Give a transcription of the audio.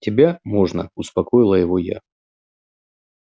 тебя можно успокоила его я